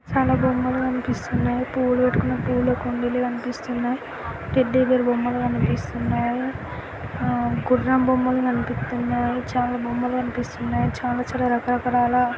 చాలా బొమ్మలు కనిపిస్తున్నాయ్. పూలు పెట్టుకునే పూల కుండీలు కనిపిస్తున్నాయ్. టెడ్డి బేర్ బొమ్మలు కనిపిస్తున్నాయ్. ఆ గుర్రం బొమ్మలు కనిపిత్తున్నాయ్. చాలా బొమ్మలు కనిపిస్తున్నాయ్. చాలా చ రరకాల--